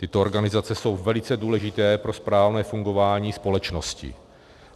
Tyto organizace jsou velice důležité pro správné fungování společnosti.